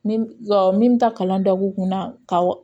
Min ka min bɛ taa kalan dɔ k'u kunna ka